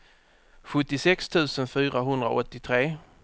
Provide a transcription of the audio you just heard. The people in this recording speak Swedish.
sjuttiosex tusen fyrahundraåttiotre